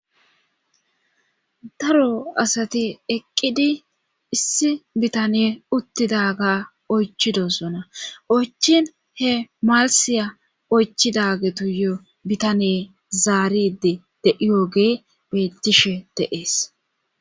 daro asati eqqidi issi bitane uttidaga oychidosona oychin he malisiya oychidagetu yo bitane zaaride de7iyooge bettishe de7ees